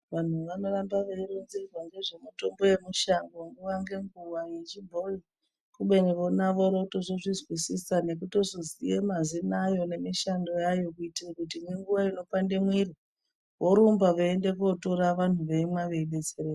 Vantu vanoramba veironzerwa ngezvemutombo yemushango nguva ngenguva yechibhoyi kubeni vona vorotozvizwisisa nekutozoziya mazina ayo nemishando yayo kuitire kuti ngenguva inopanda mwiri vorumba veienda kotora vantu veimwa veidetsereka